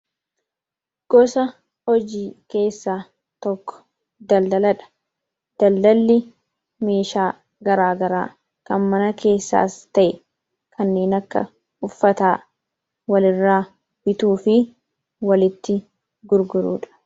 Gosa hojii keessaa tokko daldaladha. Daldalli meeshaa garaagaraa kan mana keessaas ta'ee kanneen akka uffataa walirraa bituu fi walitti gurguruudha.